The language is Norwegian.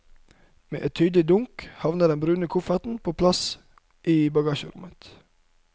Med et tydelig dunk havner den brune kofferten på plass i bagasjerommet.